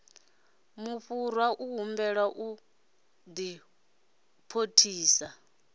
mufhurwa u humbelwa u diphositha